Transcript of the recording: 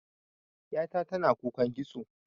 Ƴa ta tana kukan kitso.